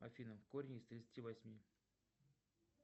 афина корень из тридцати восьми